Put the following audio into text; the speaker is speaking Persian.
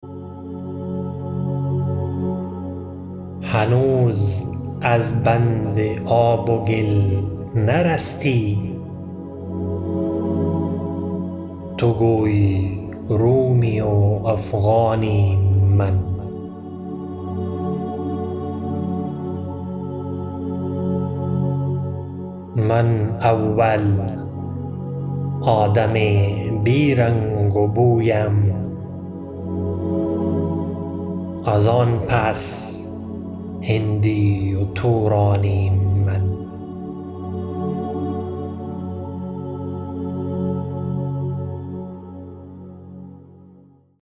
هنوز از بند آب و گل نرستی تو گویی رومی و افغانیم من من اول آدم بی رنگ و بویم از آن پس هندی و تورانیم من